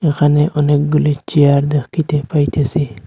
ওখানে অনেকগুলি চেয়ার দেকিতে পাইতেসি।